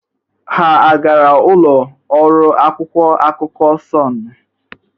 Ha agara ụlọ ọrụ akwụkwọ akụkọ Sọnụ?